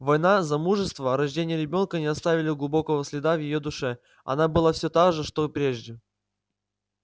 война замужество рождение ребёнка не оставили глубокого следа в её душе она была все та же что прежде